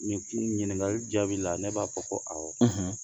Nin kun ɲininkali jaabi la ne b'a fɔ ko awɔ